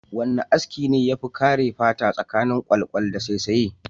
Wana aski ne yafi kare fata tsakanin kwalkwal da saisaye?